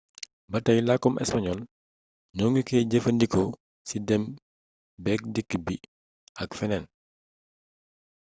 batay lakkum español ñoo ngi koy jëfee ndi ko ci dém béek dikk bi ak fénéén